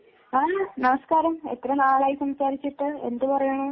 ആഹ് നമസ്കാരം എത്ര നാളായി സംസാരിച്ചിട്ട് എന്ത് പറയുന്നു